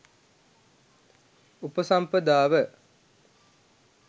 උපසම්පදාව